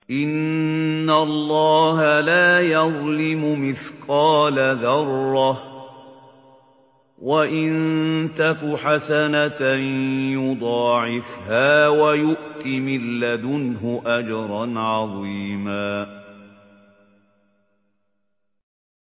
إِنَّ اللَّهَ لَا يَظْلِمُ مِثْقَالَ ذَرَّةٍ ۖ وَإِن تَكُ حَسَنَةً يُضَاعِفْهَا وَيُؤْتِ مِن لَّدُنْهُ أَجْرًا عَظِيمًا